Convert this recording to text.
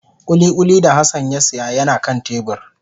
Kulikuli da Hassan ya siya yana kan tebur